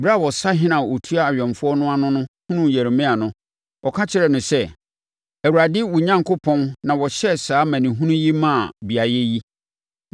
Brɛ a ɔsahene a ɔtua awɛmfoɔ no ano no hunuu Yeremia no, ɔka kyerɛɛ no sɛ, “ Awurade, wo Onyankopɔn, na ɔhyɛɛ saa amanehunu yi maa beaeɛ yi.